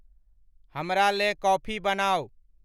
हमरालें coffee बनाउ ।